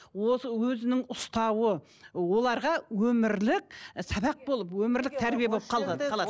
өзінің ұстауы оларға өмірлік сабақ болып өмірлік тәрбие болып қалған қалады